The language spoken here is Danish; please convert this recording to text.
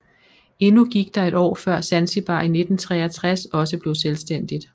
Endnu gik der et år før Zanzibar i 1963 også blev selvstændigt